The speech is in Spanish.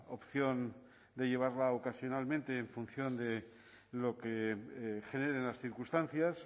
opción de llevarla ocasionalmente en función de lo que generen las circunstancias